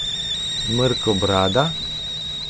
Mrkobrada?